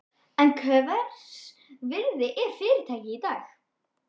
En hvers virði er fyrirtækið í dag?